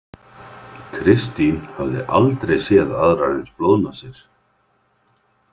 Kristín hafði aldrei séð aðrar eins blóðnasir.